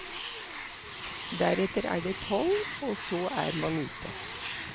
Deretter er det toll, og så er man ute.